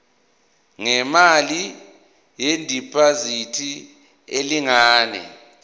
ngemali yediphozithi elingana